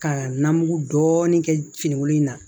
Ka na mugu dɔɔnin kɛ finigolo in na